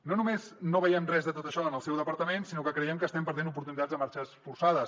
no només no veiem res de tot això en el seu departament sinó que creiem que estem perdent oportunitats a marxes forçades